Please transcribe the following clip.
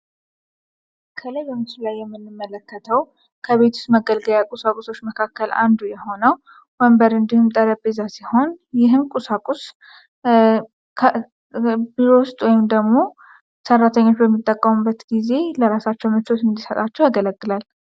ከላይ በምስሉ ላይ የምንመለከተው ከቤት ዉስጥ መገልገያ ቁሳቁሶች መካከል አንዱ የሆነው ወንበር እንዲሁም ጠረጴዛ ሲሆን፤ ይህም ቁሳቁስ ቢሮ ዉስጥ ወይም ደግሞ ሰራተኞች በሚጠቀሙበት ጊዜ ለራሳቸው ምቾት እንዲሰጣቸው ያገለግላል።